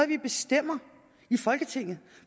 vi bestemmer i folketinget